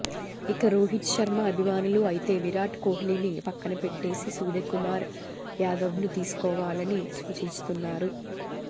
ఇక రోహిత్ శర్మ అభిమానులు అయితే విరాట్ కోహ్లీని పక్కనపెట్టేసి సూర్యకుమార్ యాదవ్ను తీసుకోవాలని సూచిస్తున్నారు